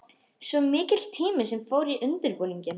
Svo mikill tími sem fór í undirbúninginn.